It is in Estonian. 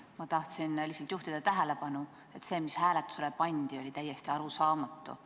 Ma tahtsin lihtsalt juhtida tähelepanu, et see, mis hääletusele pandi, oli täiesti arusaamatu.